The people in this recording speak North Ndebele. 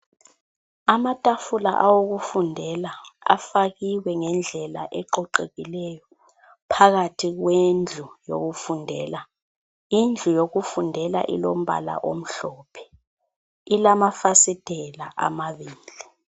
Amatafula awokufundela afakiwe ngendlela eqoqekileyo phakathi kwendlu yokufundela. Indlu yokufundela ilombala omhlophe. Ilamafasitela amabili.